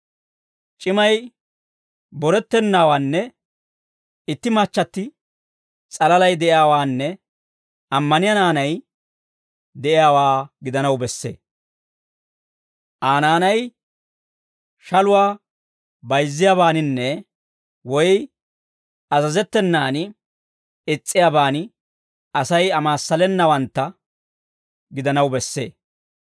C'imay borettennawaanne itti machchatti s'alalay de'iyaawaanne ammaniyaa naanay de'iyaawaa gidanaw bessee; Aa naanay shaluwaa bayizziyaabaaninne woy azazettenaan is's'iyaaban Asay amaassalenawantta gidanaw bessee.